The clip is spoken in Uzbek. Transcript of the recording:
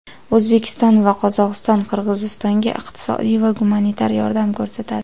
O‘zbekiston va Qozog‘iston Qirg‘izistonga iqtisodiy va gumanitar yordam ko‘rsatadi.